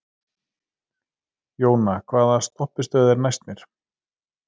Jóna, hvaða stoppistöð er næst mér?